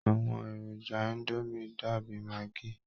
Àwọn èròjà indomie dàbí maggi